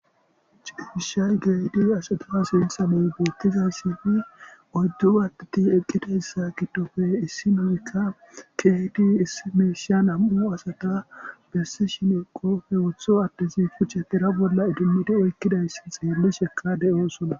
Cishshay kehidi asata sinththan bettizaysan oyddu adeti eqqidaysa giddoppe issinozi kehidi nam'u asata besishin qoppe woththo adezi kuchche tira bolla idimidi oykidayssa xelishsheka de'ossona.